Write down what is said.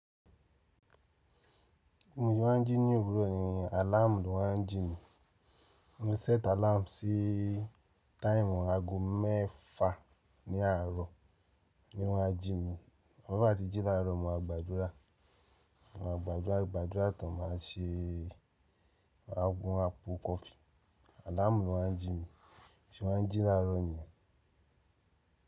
Bí mo ṣe máa ń jí ní òwúrọ̀ ni, àláàmù ló máa ń jí mi. Mo sẹ́t àláàmù sí táìmù ago mẹ́ẹ̀fa ní àárọ̀ ni wọ́n á jí mi. Ọ̀wo à ti jí láàárọ̀ mo máa gbàdúrà. Mo máa gbàdúrà, ìgbàdúrà tán màá ṣe àgbo àpù kọfí. Àláàmù ló máa ń jí mi, bí mo ṣe máa ń jí láàárọ̀ ni yẹn.